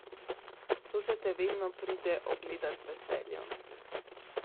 To se te vedno pride ogledat z veseljem.